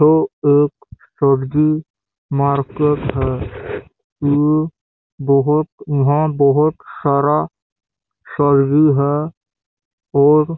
ये एक सब्जी मार्केट है ये बहोत यहाँ बहोत सारा सब्जी है और--